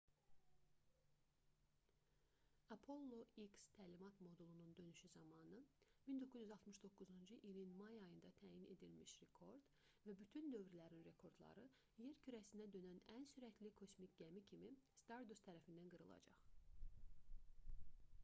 apollo x təlimat modulunun dönüşü zamanı 1969-cu ilin may ayında təyin edilmiş rekord və bütün dövrlərin rekordları yer kürəsinə dönən ən sürətli kosmik gəmi kimi stardust tərəfindən qırılacaq